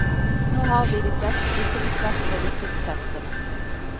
Nå har vi de fleste brikker på plass for distriktsentrene.